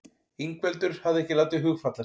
Ingveldur hafði ekki látið hugfallast.